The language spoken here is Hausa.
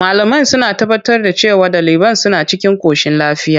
Malamai suna tabbatar da cewa daliban suna cikin koshin lafiya.